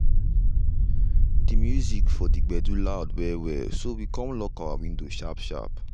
de music for de gbedu loud well well so we come lock our window sharp sharp.